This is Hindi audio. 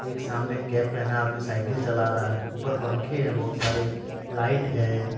एक सामने कैप पहना आदमी साइकिल चला रहा है ऊपर पंखे हैं बहुत सारे लाइट है।